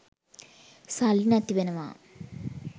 සල්ලි නැති වෙනවා